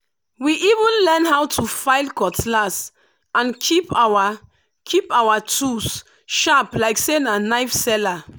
we even learn how to file cutlass and keep our keep our tools sharp like say na knife seller.